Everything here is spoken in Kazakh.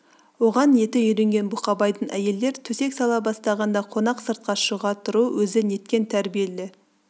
оған еті үйренген бұқабайдың әйелдер төсек сала бастағанда қонақ сыртқа шыға тұру өзі неткен тәрбиелі